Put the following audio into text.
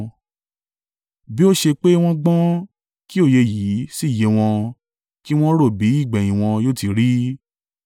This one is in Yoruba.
Bí ó ṣe pé wọ́n gbọ́n, kí òye yìí sì yé wọn kí wọn ro bí ìgbẹ̀yìn wọn yóò ti rí!